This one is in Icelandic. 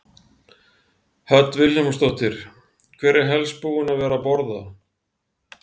Hödd Vilhjálmsdóttir: Hver er helst búinn að vera að borða?